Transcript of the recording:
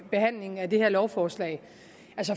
behandlingen af det her lovforslag